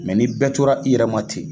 ni bɛɛ tora i yɛrɛma ten.